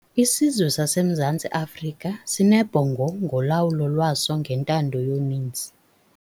Isizwe saseMzantsi Afrika sinebhongo ngolawulo lwaso ngentando yoninzi.